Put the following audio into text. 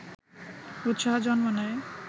উৎসাহ জন্ম নেয়